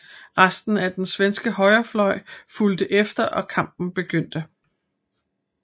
Resten af den svenske højrefløj fulgte efter og kampen begyndte